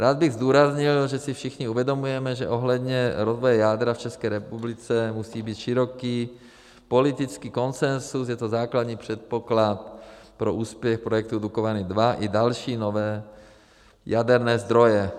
Rád bych zdůraznil, že si všichni uvědomujeme, že ohledně rozvoje jádra v České republice musí být široký politický konsenzus, je to základní předpoklad pro úspěch projektu Dukovany II i další nové jaderné zdroje.